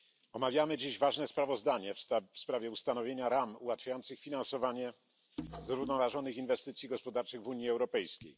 Omawiamy dziś ważne sprawozdanie w sprawie ustanowienia ram ułatwiających finansowanie zrównoważonych inwestycji gospodarczych w Unii Europejskiej.